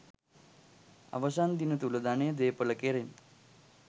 අවසන් දින තුළ ධනය දේපල කෙරෙන්